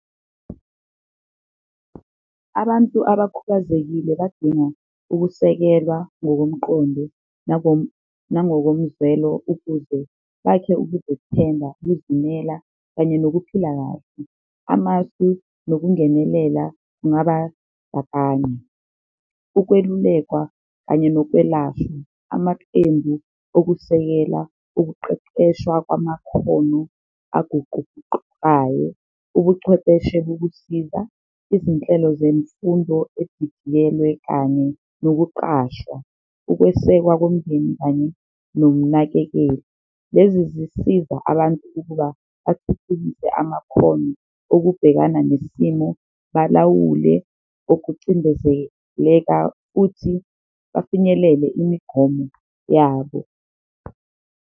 Abantu abakhubazekile badinga ukusekelwa ngokomqondo, nangokomzwelo ukuze bakhe ukuzethemba, ukuzimela kanye nokuphila kahle amasu nokungenelela kungaba . Ukwelulekwa kanye nokwelashwa, amaqembu okusekela ukuqeqeshwa kwamakhono aguquguqukayo, ubuchwepheshe bokusiza, izinhlelo zemfundo edidiyelwe kanye nokuqashwa, ukwesekwa komndeni kanye nomnakekeli. Lezi zisiza abantu ukuba bathuthukise amakhono okubhekana nesimo, balawule ukucindezeleka futhi bafinyelele imigomo yabo.